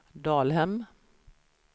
Dalhem